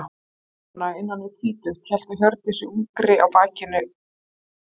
Ung kona, innan við tvítugt, hélt á Hjördísi ungri á baki sér.